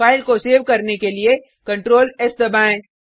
file को save करने के लिए ctrls दबाएँ